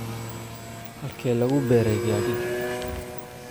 Halkee lagu beeray gaadhigii?